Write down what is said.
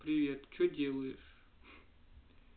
привет что делаешь